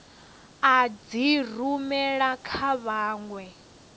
u dzi rumela kha vhanwe